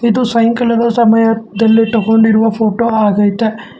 ಇದು ಸಾಯಂಕಾಲದ ಸಮಯದಲ್ಲಿ ತಗೊಂಡಿರುವ ಫೋಟೋ ಆಗೈತೆ.